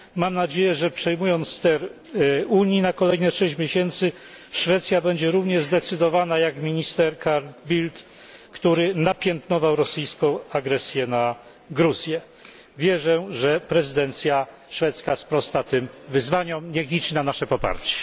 Mam nadzieję, że przejmując ster Unii na kolejne 6 miesięcy, Szwecja będzie równie zdecydowana jak minister Carl Bildt, który napiętnował rosyjską agresję na Gruzję. Wierzę, że prezydencja szwedzka sprosta tym wyzwaniom, może liczyć na nasze poparcie.